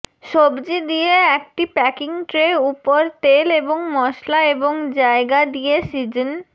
সবজি দিয়ে একটি প্যাকিং ট্রে উপর তেল এবং মশলা এবং জায়গা দিয়ে সিজন